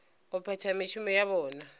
go phetha mešomo ya bona